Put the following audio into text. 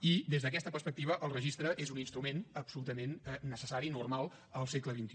i des d’aquesta perspectiva el registre és un instrument absolutament necessari normal al segle xxi